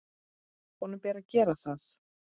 Honum ber að gera það.